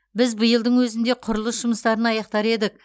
біз биылдың өзінде құрылыс жұмыстарын аяқтар едік